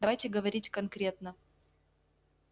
давайте говорить конкретно